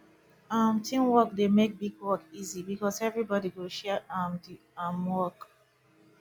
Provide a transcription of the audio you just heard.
um teamwork dey make big work easy because everybody go share um di um work